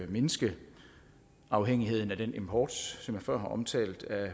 mindske afhængigheden af den import som jeg før har omtalt af